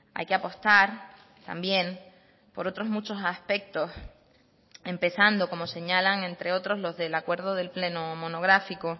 hay que apostar también por otros muchos aspectos empezando como señalan entre otros los del acuerdo del pleno monográfico